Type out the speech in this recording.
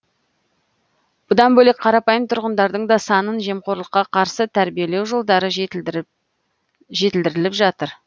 бұлдан бөлек қарапайым тұрғындардың да санасын жемқорлыққа қарсы тәрбиелеу жолдары жетілдіріліп жатыр